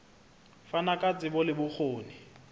fana ka tsebo le bokgoni